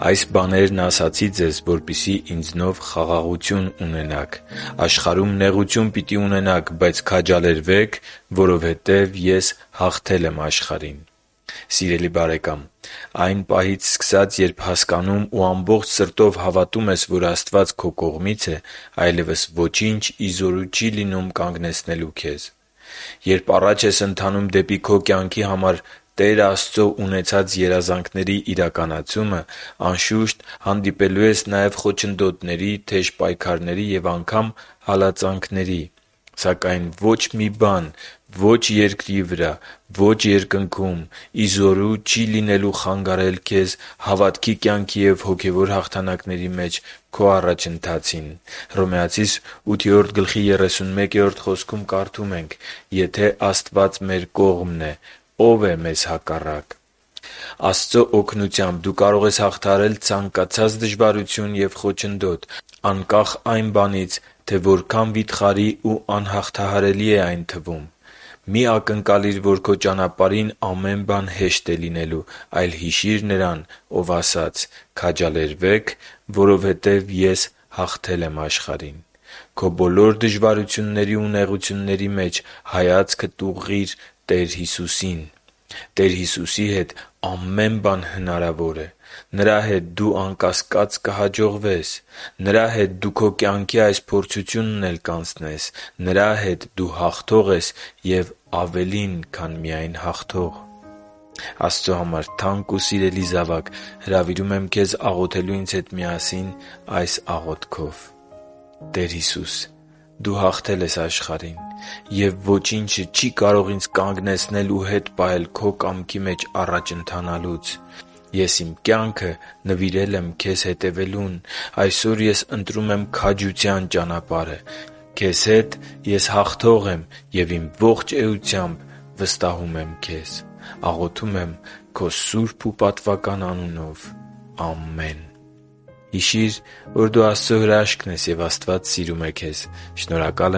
«Այս բաներն ասացի ձեզ, որպեսզի ինձնով խաղաղություն ունենաք։ Աշխարհում նեղություն պիտի ունենաք, բայց քաջալերվե՛ք, որովհետև Ես հաղթել եմ աշխարհին» (Հովհաննես 16.33): Սիրելի՛ բարեկամ, այն պահից սկսած երբ հասկանում ու ամբողջ սրտով հավատում ես, որ Աստված քո կողմից է, այլևս ոչինչ ի զորու չի լինում կանգնեցնելու քեզ։ Երբ առաջ ես ընթանում դեպի քո կյանքի համար Տեր Աստծո ունեցած երազանքների իրականացումը, անշուշտ, հանդիպելու ես խոչընդոտների, թեժ պայքարների և անգամ հալածանքների․․․ Սակայն ոչ մի բան ո՛չ երկրի վրա և ո՛չ Երկնքում ի զորու չի լինելու խանգարել քեզ հավատքի կյանքի և հոգևոր հաղթանակների մեջ քո առաջընթացին։ Հռոմեացիս 8.31 խոսքում կարդում ենք. «…եթե Աստված մեր կողմն է, ո՞վ է մեզ հակառակ»։ Աստծո օգնությամբ դու կարո՛ղ ես հաղթահարել ցանկացած դժվարություն և խոչընդոտ, անկախ այն բանից, թե որքան վիթխարի ու անհաղթահարելի է այն թվում։ Մի՛ ակնկալիր, որ քո ճանապարհին ամեն բան հեշտ է լինելու, այլ հիշի՛ր Նրան, Ով ասաց. «Քաջալերվե՛ք, որովհետև Ես հաղթել եմ աշխարհին»։ Քո բոլոր դժվարությունների ու նեղությունների մեջ հայացքդ ուղղի՛ր Տեր Հիսուսին։ Տեր Հիսուսի հետ ամե՛ն բան է հնարավոր։ Նրա հետ դու, անկասկած, կհաջողվե՛ս։ Նրա՛ հետ դու քո կյանքի այս փորձությունդ էլ կանցնե՛ս։ Նրա՛ հետ դու հաղթող ես և ավելին, քան միայն հաղթող․․․ Աստծո համար թանկ ու սիրելի՛ զավակ, հրավիրում եմ քեզ աղոթել ինձ հետ միասին այս աղոթքով. «Տե՛ր Հիսուս, Դու հաղթել ես աշխարհին։ Եվ ոչինչ չի՛ կարող ինձ կանգնեցնել ու հետ պահել քո կամքի մեջ առաջ ընթանալուց։ Ես իմ կյանքը նվիրել եմ Քե՛զ հետևելուն։ Այսօր ես ընտրում եմ քաջության ճանապարհը։ Քեզ հետ ես հաղթող եմ, և իմ ողջ էությամբ ես վստահում եմ Քեզ։ Աղոթում եմ Քո սուրբ ու պատվական անունով։ Ամե՛ն»։ Հիշի՛ր, որ դու Աստծո հրաշքն ես, և Աստված սիրում է քեզ։ Շնորհակալ